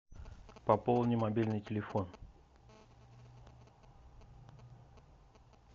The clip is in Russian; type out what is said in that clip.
пополни мобильный телефон